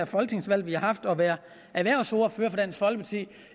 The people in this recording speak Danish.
folketingsvalg vi har haft at være erhvervsordfører for dansk folkeparti